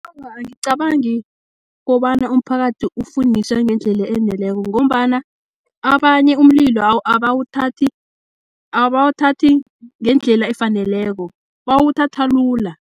Awa, angicabangi kobana umphakathi ufundiswa ngendlela eneleko, ngombana abanye umlilo abawuthathi ngendlela efaneleko bawuthatha lula.